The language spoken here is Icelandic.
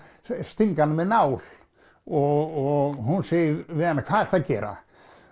stinga hana með nál og hún segir við hana hvað ertu að gera